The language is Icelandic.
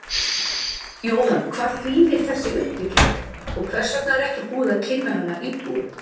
Jóhann, hvað þýðir þessi uppbygging og hvers vegna er ekki búið að kynna hana íbúum?